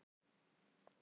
Þau eru hamingju